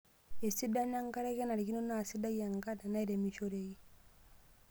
Esidano enkare:Kenarikino naa sidai enkare nairemishoreki.